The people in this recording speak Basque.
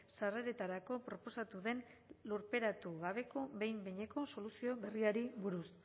sarreretarako proposatu den lurperatu gabeko behin behineko soluzio berriari buruz